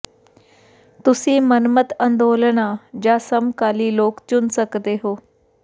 ਤੁਸੀਂ ਮਨਮੱਤ ਅੰਦੋਲਨਾਂ ਜਾਂ ਸਮਕਾਲੀ ਲੋਕ ਚੁਣ ਸਕਦੇ ਹੋ